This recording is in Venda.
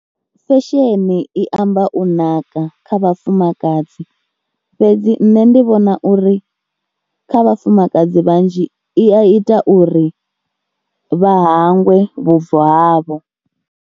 Fesheni i amba u naka kha vhafumakadzi fhedzi nṋe ndi vhona uri kha vhafumakadzi vhanzhi i a ita uri vha hangwe vhubvo havho.